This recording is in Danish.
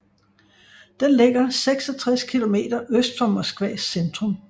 Den ligger 66 km øst for Moskvas centrum